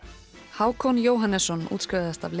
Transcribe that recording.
Hákon Jóhannesson útskrifaðist af